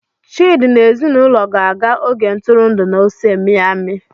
Chidi na ezinaụlọ ga-aga oge ntụrụndụ na Ose Miami.